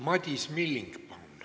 Madis Milling, palun!